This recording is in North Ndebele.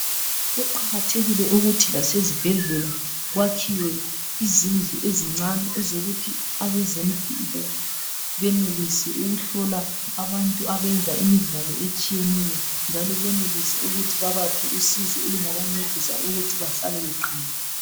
Kuqakathekile ukuthi lasezibhedlela kwakhiwe izindlu ezincane ezokuthi abezempilo benelise ukuhlola abantu abenza imidlalo etshiyeneyo njalo benelise ukuthi babaphe usizo olungabancedisa ukuthi bahlale beqinile.